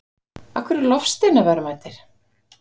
af hverju eru loftsteinar verðmætir